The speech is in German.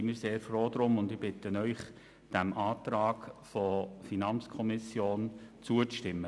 Ich bitte Sie, dem Antrag der FiKo zuzustimmen.